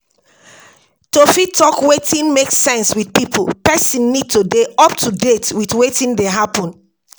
To fit talk wetin make sense with pipo, person need to dey up to date with wetin dey happen